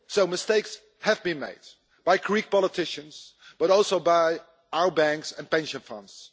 Mistakes have been made by Greek politicians, but also by our banks and pension funds.